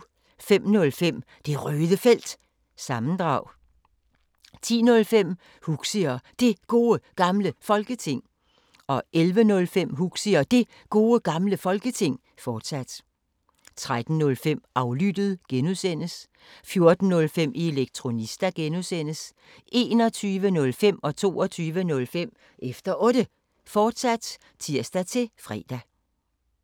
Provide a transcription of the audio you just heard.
05:05: Det Røde Felt – sammendrag 10:05: Huxi og Det Gode Gamle Folketing 11:05: Huxi og Det Gode Gamle Folketing, fortsat 13:05: Aflyttet (G) 14:05: Elektronista (G) 21:05: Efter Otte, fortsat (tir-fre) 22:05: Efter Otte, fortsat (tir-fre)